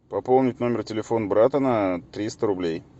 пополнить номер телефон брата на триста рублей